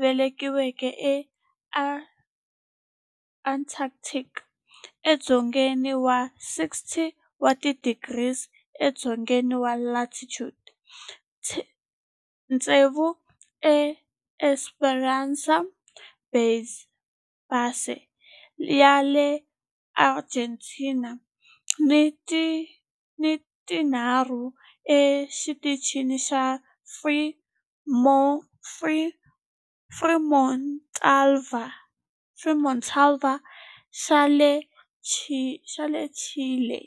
velekiweke eAntarctica, edzongeni wa 60 wa tidigri edzongeni wa latitude, tsevu eEsperanza Base ya le Argentina ni tinharhu eXitichini xa Frei Montalva xa le Chile.